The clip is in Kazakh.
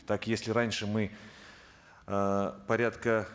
так если раньше мы эээ порядка